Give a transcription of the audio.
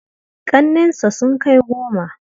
Ƙannensa sun kai goma.